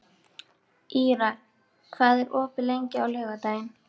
Ýrar, hvað er opið lengi á laugardaginn?